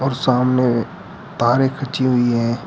सामने तारे खींची हुई है।